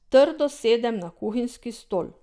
Trdo sedem na kuhinjski stol.